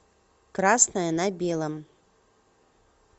красное на белом